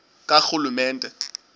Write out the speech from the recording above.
karhulumente